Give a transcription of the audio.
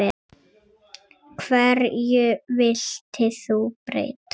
Hverju vilt þú breyta?